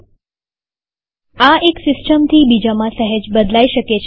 000557 000459 આ એક સિસ્ટમથી બીજામાં સહેજ બદલાય શકે છે